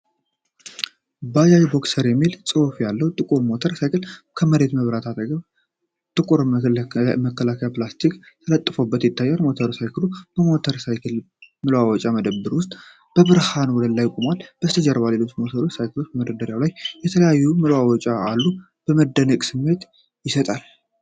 ባጃጅ ቦክሰር የሚል ጽሑፍ ያለው ጥቁር ሞተር ሳይክል፣ ከፊት መብራቱ አጠገብ ጥቁር መከላከያ ፕላስቲክ ተለጥፎበት ይታያል። ሞተር ሳይክሉ በሞተር ሳይክል መለዋወጫ መደብር ውስጥ በብርሃን ወለል ላይ ቆሟል። ከበስተጀርባ ሌሎች ሞተር ሳይክሎችና በመደርደሪያ ላይ የተለያዩ መለዋወጫዎች አሉ። የመደነቅ ስሜት ይሰጣል።